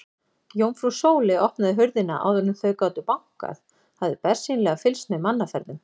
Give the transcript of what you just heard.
Jómfrú Sóley opnaði hurðina áður en þau gátu bankað, hafði bersýnilega fylgst með mannaferðum.